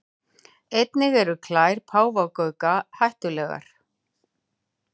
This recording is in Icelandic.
Einnig eru klær páfagauka hættulegar.